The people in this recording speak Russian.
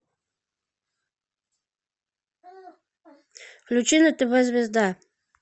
включи на тв звезда